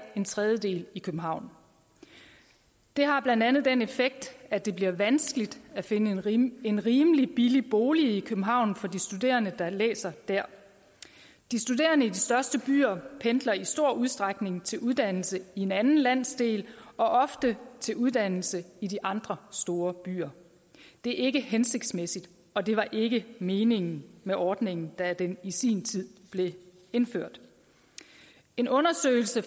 en tredjedel i københavn det har blandt andet den effekt at det bliver vanskeligt at finde en rimelig en rimelig billig bolig i københavn for de studerende der læser der de studerende i de største byer pendler i stor udstrækning til uddannelse i en anden landsdel og ofte til uddannelse i de andre store byer det er ikke hensigtsmæssigt og det var ikke meningen med ordningen da den i sin tid blev indført en undersøgelse